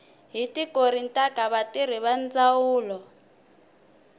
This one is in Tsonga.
hi tikontiraka vatirhi va ndzawulo